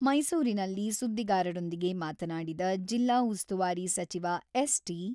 ಮೈಸೂರಿನಲ್ಲಿ ಸುದ್ದಿಗಾರರೊಂದಿಗೆ ಮಾತನಾಡಿದ ಜಿಲ್ಲಾ ಉಸ್ತುವಾರಿ ಸಚಿವ ಎಸ್.ಟಿ.